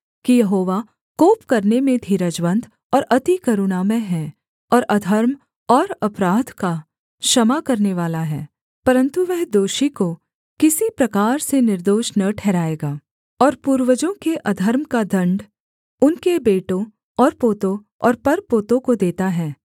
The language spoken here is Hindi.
कि यहोवा कोप करने में धीरजवन्त और अति करुणामय है और अधर्म और अपराध का क्षमा करनेवाला है परन्तु वह दोषी को किसी प्रकार से निर्दोष न ठहराएगा और पूर्वजों के अधर्म का दण्ड उनके बेटों और पोतों और परपोतों को देता है